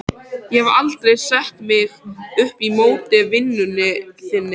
Ég hef aldrei sett mig upp á móti vinnunni þinni.